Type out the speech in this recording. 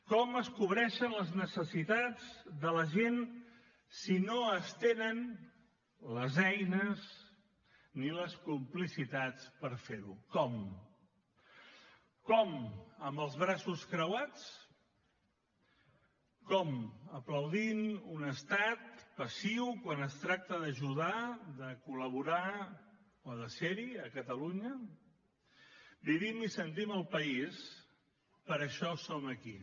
com es cobreixen les necessitats de la gent si no es tenen les eines ni les complicitats per fer ho com com amb els braços creuats com aplaudint un estat passiu quan es tracta d’ajudar de col·laborar o de ser hi a catalunya vivim i sentim al país per això som aquí